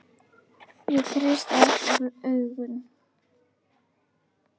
Ég kreisti aftur augun.